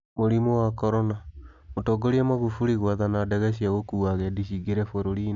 Mũrimũ wa Corona: Mũtongoria Magufuli gwathana ndege cia gũkuua agendi ciingĩre bũrũri-inĩ